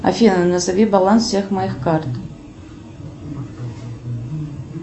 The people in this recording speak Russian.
афина назови баланс всех моих карт